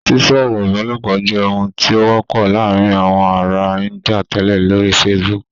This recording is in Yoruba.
Sísọ̀rọ̀ ìbálòpọ̀ jẹ́ ohun tí ó wọ́pọ̀ láàárín àwọn ará Índíà tẹ́lẹ̀ lórí Facebook